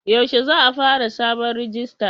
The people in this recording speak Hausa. Yaushe za a fara sabon rijista?